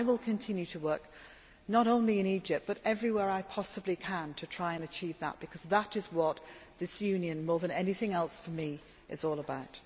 I will continue to work, not only in Egypt but everywhere I possibly can, to try to achieve that because that is what this Union more than anything else for me is all about.